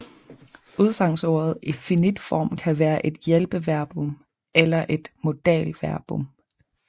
Udsagnsordet i finit form kan være et hjælpeverbum eller et modalverbum